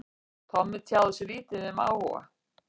Tommi tjáði sig lítið um áhuga